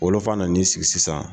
Wolofa na n'i sigi sisan.